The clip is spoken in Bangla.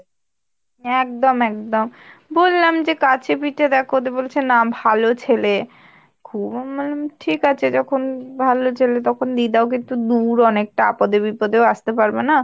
হ্যাঁ একদম একদম বললাম যে কাছে পিঠে দেখো দিয়ে বলছে না ভালো ছেলে খুব, মানে বললাম ঠিক আছে যখন ভালো ছেলে তখন দি দাও কিন্তু দূর অনেকটা, আপদে বিপদেও আসতে পারবেনা।